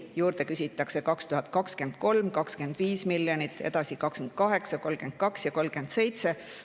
2023. aastal küsitakse juurde 25 miljonit, edasi 28, 32 ja 37.